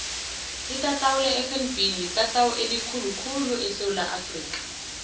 itatawu lefnb litatawu elikhulu khulu esewula afrika